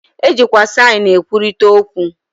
E jikwa saịn e kwurịta okwu.